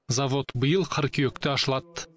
завод биыл қыркүйекте ашылады